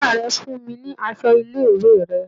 Ìyá rè fún mi ní aṣọ ilé-ìwé rẹ̀.